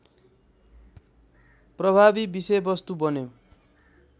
प्रभावी विषयवस्तु बन्यो